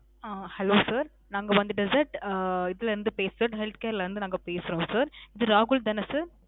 ஆ. Hello sir. நாங்க வந்துட்டு sir. இதுல இருந்து பேசுறோம், health care ல இருந்து நாங்க பேசுறோம் sir. இது ராகுல் தான sir?